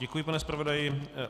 Děkuji, pane zpravodaji.